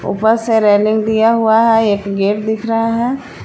ऊपर से रेलिंग दिया हुआ है एक गेट दिख रहा है।